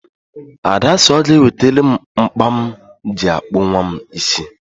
Ada sị ga ewetere m mkpa m ji akpụ nwam isi